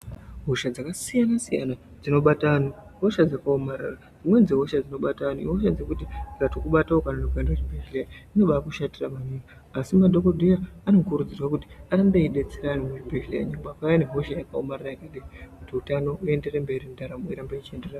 Hosha dzakasiyana siyana dzinobate anhu ,ihosha dzakawomarara. Dzimweni dzehosha dzino bata anhu ihosha dzekuti dzikatokubata ukanonoka kuende kuchibhedlera kunenge kwakushatira maningi ,asi madhokodheya anokurudzirwa kuti arambe eyidetsera anhu muzvibhedlera vakawuya nehosha yakawomarara yakadii kuti hutano uenderere mberi ,ntaramo irambe ichienderera mberi.